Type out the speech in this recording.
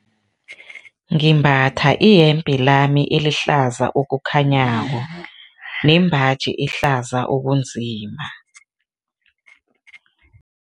Ngimbatha iyembe lami elihlaza okukhanyako nembaji ehlaza okunzima.